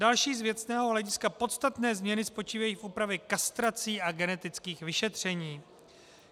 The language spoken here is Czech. Další z věcného hlediska podstatné změny spočívají v úpravě kastrací a genetických vyšetření.